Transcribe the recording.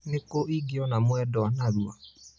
nĩ kũ ĩngĩona mwendwa na rũa